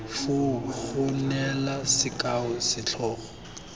foo go neela sekao setlhogo